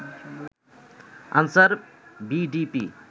answer VDP